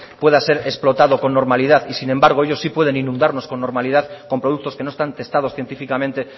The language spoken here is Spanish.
pueda ser explotado con normalidad y sin embargo ellos sí pueden inundarnos con normalidad con productos que no están testados científicamente